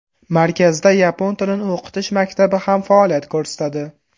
Markazda yapon tilini o‘qitish maktabi ham faoliyat ko‘rsatadi.